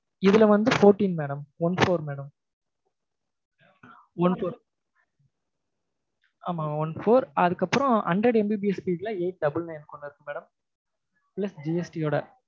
இதுல வந்து fourteen madam one four madam one four ஆமா one four அதுக்கப்புறம் hundred MBPS speed ல eight double nine ஒன்னு இருக்கு madam GST யோட